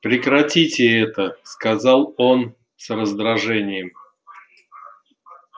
прекратите это сказал он с раздражением